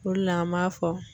O de la an b'a fɔ.